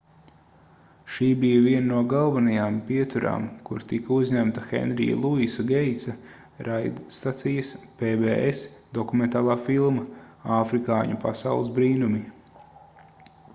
šī bija viena no galvenajām pieturām kur tika uzņemta henrija luisa geitsa raidstacijas pbs dokumentālā filma afrikāņu pasaules brīnumi